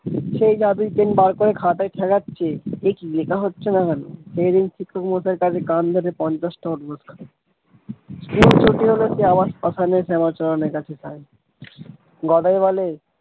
সেই জাদু pen বের করে খাতায় ঠেকাচ্ছে একি লেখা হচ্ছে না কেন সেই দিন শিক্ষক মশাই তাকে কান ধরে টা উঠবস খাওয়াই school ছুটি হলে সে আবার শ্মশানে শ্যামা চরণের কাছে যায় গদাই বলে।